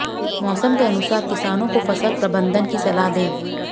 मौसम के अनुसार किसानों को फसल प्रबंधन की सलाह दें